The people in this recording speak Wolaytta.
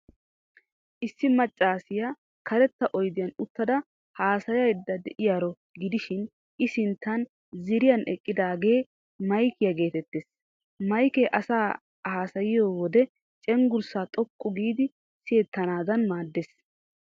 Issi maccaasiyaa karetta oydiyaan uttada haasayayidda de'iyaaroo gidishin,I sinttan ziiriyan eqqidaagee maykiyaa geetettees. Maykee asay haasayiyo wide cenggurssay xoqqu giidi siyettanaadan maaddees.